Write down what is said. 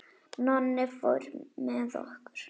Nonni fór með okkur.